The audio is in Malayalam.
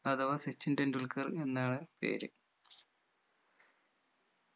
അഥവാ സച്ചിൻ ടെണ്ടുൽക്കർ എന്നാണ് പേര്